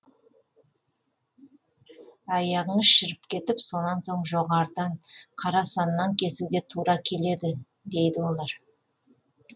аяғыңыз шіріп кетіп сонан соң жоғарыдан қара саннан кесуге тура келеді дейді олар